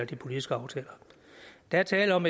de politiske aftaler der er tale om